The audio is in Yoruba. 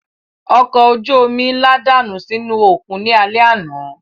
Ọkọ̀ ojú omi ńlá dànù sínú òkun ní alẹ́ àná